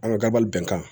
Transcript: An ka gabali bɛn kan